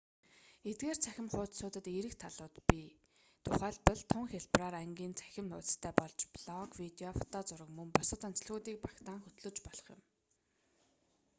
эдгээр цахим хуудсуудад эерэг талууд бий тухайлбал тун хялбараар ангийн цахим хуудсастай болж блог видео фото зураг мөн бусад онцлогуудыг багтаан хөтлөж болох юм